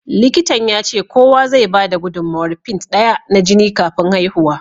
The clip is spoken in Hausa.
Likitan ya ce kowa zai bada gudummawar pint daya na jini kafin haihuwa.